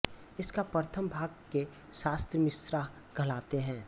इसका प्रथम भाग के शास्त्र मिश्नाह कहलाते है